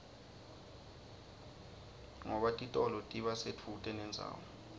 ngoba titolo tiba sedvute nendzawo